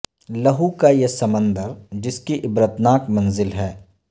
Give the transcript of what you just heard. لہو کا یہ سمندر جس کی عبرت ناک منزل ہے